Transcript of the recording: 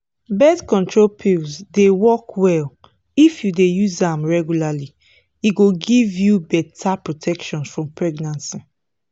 birth control pills dey work well if you dey use am regularly e go give you better protection from pregnancy.